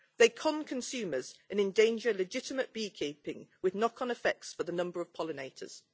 They con consumers and endanger legitimate beekeeping with knock-on effects for the number of pollinators.